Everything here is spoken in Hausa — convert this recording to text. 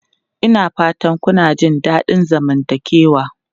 Ina fatan kuna jin daɗin zamantakewa?